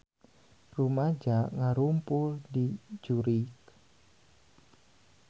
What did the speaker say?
Rumaja ngarumpul di Zurich